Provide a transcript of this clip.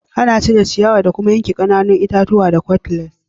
Ana cire ciyawa da kuma yanka ƙananan itatuwa da kutlas.